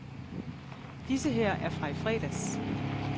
Disse her er fra i fredags.